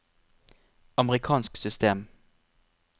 amerikansk system